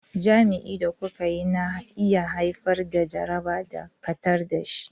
Jima'i da kuka yi na iya haifar da jaraba, dakatar da shi.